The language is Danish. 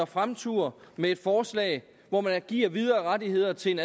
fremture med et forslag hvor man giver videre rettigheder til en